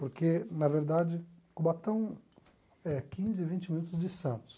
Porque, na verdade, Cubatão é quinze a vinte minutos de Santos.